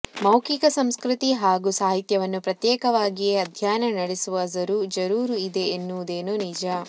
ಮೌಖಿಕ ಸಂಸ್ಕೃತಿ ಹಾಗೂ ಸಾಹಿತ್ಯವನ್ನು ಪ್ರತ್ಯೇಕವಾಗಿಯೇ ಅಧ್ಯಯನ ನಡೆಸುವ ಜರೂರು ಇದೆ ಎನ್ನುವುದೇನೂ ನಿಜ